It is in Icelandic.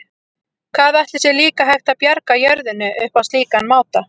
Hvað ætli sé líka hægt að bjarga jörðinni upp á slíkan máta?